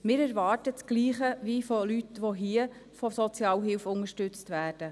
Wir erwarten dasselbe wie von Leuten, die hier von der Sozialhilfe unterstützt werden.